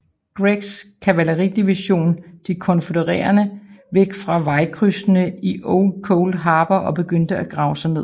Greggs kavaleridivision de konfødererede væk fra vejkrydsene i Old Cold Harbor og begyndte at grave sig ned